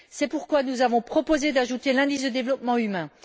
C'est pourquoi nous avons proposé d'ajouter l'indice de développement humain.